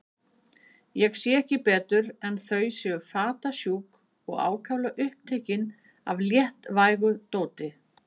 Ég sé ekki betur en þau séu fatasjúk og ákaflega upptekin af léttvægu dóti.